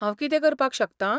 हांव कितें करपाक शकतां?